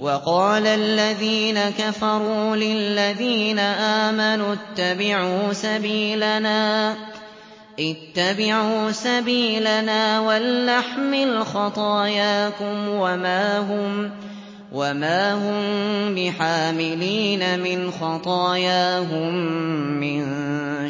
وَقَالَ الَّذِينَ كَفَرُوا لِلَّذِينَ آمَنُوا اتَّبِعُوا سَبِيلَنَا وَلْنَحْمِلْ خَطَايَاكُمْ وَمَا هُم بِحَامِلِينَ مِنْ خَطَايَاهُم مِّن